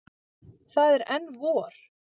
Það er enn vor.